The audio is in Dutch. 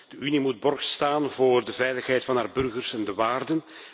De Unie moet borg staan voor de veiligheid van haar burgers en de waarden.